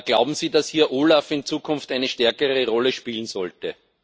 Glauben Sie, dass OLAF hier in Zukunft eine stärkere Rolle spielen sollte?